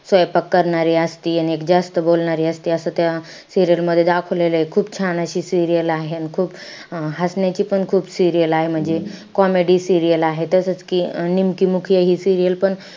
स्वैपाक करणारी असती. एक जास्त बोलणारी असती. असं त्या serial मध्ये दाखवलेलंय. खूप छान अशी serial आहे. अन खूप हसण्याचीपण खूप serial आहे. म्हणजे comedy serial आहे. तसंच कि निमकी मुखिया,